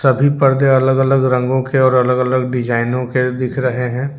सभी पर्दे अलग अलग रंगों के और अलग अलग डिजाइनों के दिख रहे हैं।